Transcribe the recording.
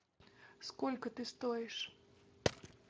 сколько ты стоишь